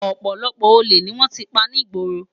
Òpòlòpò ólé ni wòn ti pá nigbóró